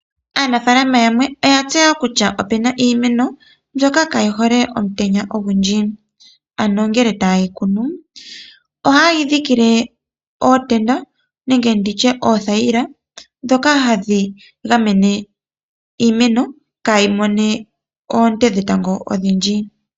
Aanafaalama yamwe oya tseya okutya opena iimeno mbyoka kayi hole mutenya owundji. Ano ngele ta ye yi kunu ,oha ye yi dhikile ootenda nenge ndi tye oothayila ndhoka ha dhi ga mene iimeno kayi mone oonte dhe tango odhindhji.